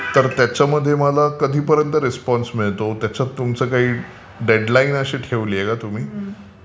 तर त्याच्यामध्ये मला कधीपर्यन्त रिस्पॉन्स मिळतो त्याच्यात तुमची काही डेड लाइन अशी ठेवली आहे का तुम्ही?